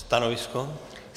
Stanovisko?